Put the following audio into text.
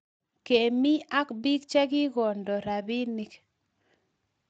Kemi ak bik che kigondo rapinik